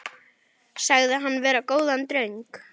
Sagðir hann vera góðan dreng.